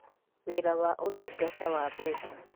Wĩra wa Ũtungata wa Mbeca: